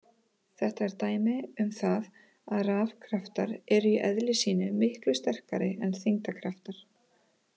Þetta er dæmi um það að rafkraftar eru í eðli sínu miklu sterkari en þyngdarkraftar.